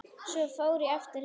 Svo fór ég aftur heim.